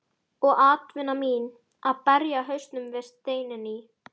Og atvinna mín: að berja hausnum við steininn í